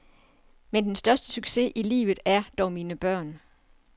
Men den største succes i livet er dog mine børn.